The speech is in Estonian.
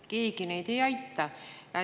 Keegi neid ei aita.